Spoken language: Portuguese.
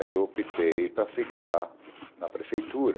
Aí eu optei para ficar na prefeitura.